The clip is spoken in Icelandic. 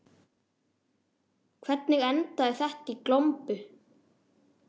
Hvernig endaði þetta í glompu?